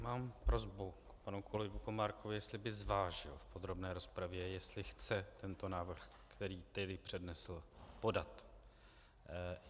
Mám prosbu k panu kolegovi Komárkovi, jestli by zvážil v podrobné rozpravě, jestli chce tento návrh, který tady přednesl, podat.